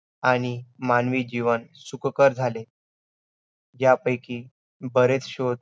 आणि मानवी जीवन सुखकर झाले. त्यापैकी बरेच शोध